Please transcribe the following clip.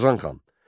Qazan xan.